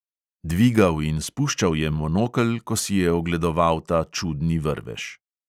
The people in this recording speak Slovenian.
Dvigal in spuščal je monokel, ko si je ogledoval ta čudni vrvež.